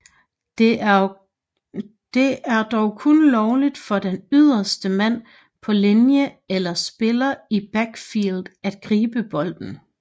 Det er dog kun lovligt for den ydderste mand på linje eller spiller i backfield at gribe bolden